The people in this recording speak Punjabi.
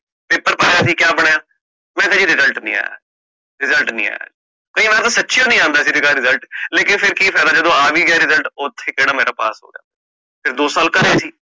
paper ਪਾਯਾ ਸੀ ਕਯਾ ਬਣਿਆ, ਮੈਂ ਕਹ ਜੀ result ਨੀ ਆਯਾ, ਕਯੀ ਵਾਰ ਤਾ ਸਚਿਯੋ ਨੀ ਆਂਦਾ ਸੀ result, ਕਿ ਫਾਇਦਾ ਜਦੋ ਆ ਵੀ ਗਯਾ result ਓਥੇ ਕੇਹੜਾ ਮੇਰਾ ਪਾਸ ਹੋਣਾ, ਫੇਰ ਦੋ ਸਾਲ ਘਰੇ ਸੀ